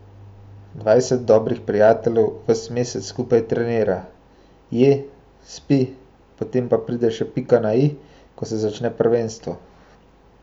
Dvajset dobrih prijateljev ves mesec skupaj trenira, je, spi, potem pa pride še pika na i, ko se začne prvenstvo.